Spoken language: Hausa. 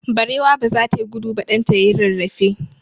Barewa ba za ta yi gudu ba, ɗan ta ya yi rarrafe.